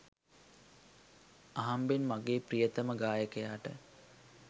අහම්බෙන් මගේ ප්‍රියතම ගායකයාට